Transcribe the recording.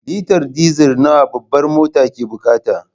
Litar diesel nawa babbar motar ke bukata.